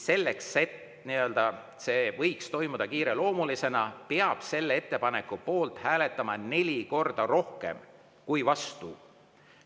Selleks, et see võiks toimuda kiireloomulisena, peab ettepaneku poolt hääletama neli korda rohkem kui vastu.